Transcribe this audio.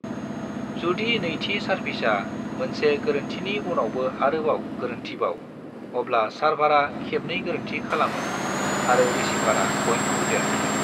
जुदि नैथि सार्भिसा, मोनसे गोरोन्थिनि उनावबो आरोबाव गोरोन्थिबाव, अब्ला सार्भारा खेबनै गोरोन्थि खालामो, आरो रिसीभारा पइन्टखौ देरहायो।